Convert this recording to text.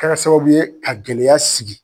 Kɛra sababu ye ka gɛlɛya sigi